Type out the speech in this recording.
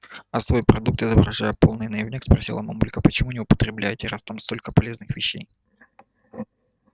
а свой продукт изображая полный наивняк спросила мамулька почему не употребляете раз там столько полезных вещей